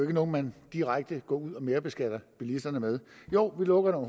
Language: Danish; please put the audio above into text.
er noget man direkte går ud og merbeskatter bilisterne med jo vi lukker